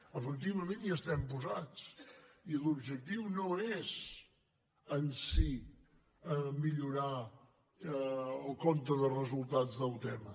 efectivament hi estem posats i l’objectiu no és en si millorar el compte de resultats d’autema